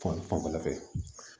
fanfɛla fɛ